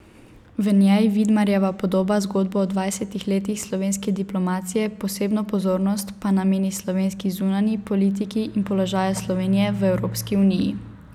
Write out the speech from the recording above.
V njej Vidmajerjeva poda zgodbo o dvajsetih letih slovenske diplomacije, posebno pozornost pa nameni slovenski zunanji politiki in položaju Slovenije v Evropski uniji.